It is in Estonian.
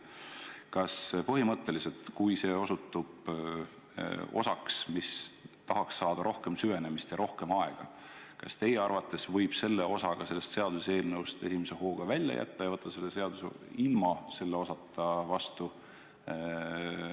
Kas põhimõtteliselt, kui see osutub osaks, mis tahaks saada rohkem süvenemist ja aega, võib teie arvates selle osa esimese hooga seaduseelnõust välja jätta ja võtta selle seaduse vastu ilma selleta?